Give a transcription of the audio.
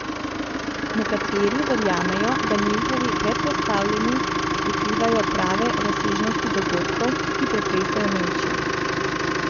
Nekateri verjamejo, da njihovi predpostavljeni prikrivajo prave razsežnosti dogodkov, ki pretresajo Nemčijo.